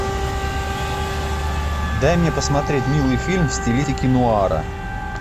дай мне посмотреть милый фильм в стилистике нуара